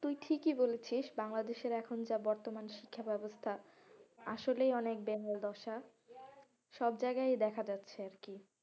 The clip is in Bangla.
তুই ঠিকই বলেছিস বাংলাদেশের এখন যা বর্তমান শিক্ষা ব্যবস্থা আসলেই অনেক দশা সবজায়গায় দেখা যাচ্ছে আরকি,